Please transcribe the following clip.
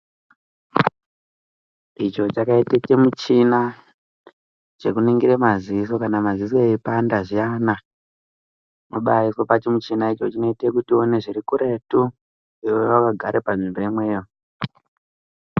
Icho chakaita chimuchina chikunhingira madziso kana madziso aipanda zviyana unobaiiswa pachimuchina icho chinoita kuti uone zvirikureto iwewe wakagara panzvimbo imweyo .